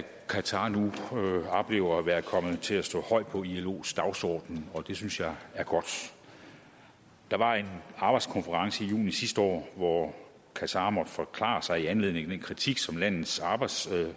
qatar nu oplever at være kommet til at stå højt på ilos dagsorden og det synes jeg er godt der var en arbejdskonference i juni sidste år hvor qatar måtte forklare sig i anledning af den kritik som landets arbejdstagere